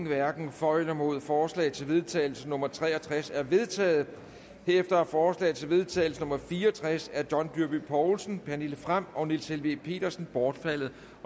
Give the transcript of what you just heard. hverken for eller imod forslag til vedtagelse nummer v tre og tres er vedtaget herefter er forslag til vedtagelse nummer v fire og tres af john dyrby paulsen pernille frahm og niels helveg petersen bortfaldet